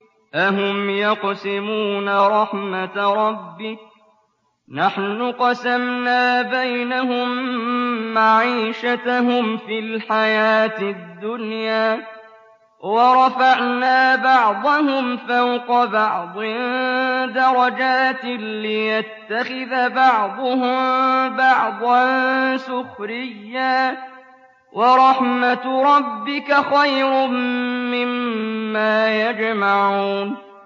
أَهُمْ يَقْسِمُونَ رَحْمَتَ رَبِّكَ ۚ نَحْنُ قَسَمْنَا بَيْنَهُم مَّعِيشَتَهُمْ فِي الْحَيَاةِ الدُّنْيَا ۚ وَرَفَعْنَا بَعْضَهُمْ فَوْقَ بَعْضٍ دَرَجَاتٍ لِّيَتَّخِذَ بَعْضُهُم بَعْضًا سُخْرِيًّا ۗ وَرَحْمَتُ رَبِّكَ خَيْرٌ مِّمَّا يَجْمَعُونَ